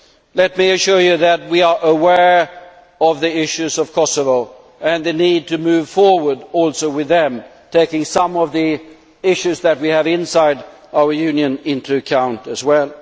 Let me assure you that we are aware of the issues of Kosovo, and of the need to move forward with them, taking some of the issues that we have inside our Union into account as well.